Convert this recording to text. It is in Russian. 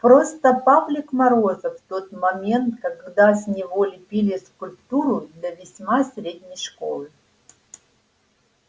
просто павлик морозов в тот момент когда с него лепили скульптуру для весьма средней школы